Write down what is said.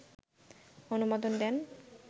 অনুমোদন দেন